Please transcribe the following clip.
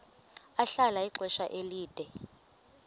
ahlala ixesha elide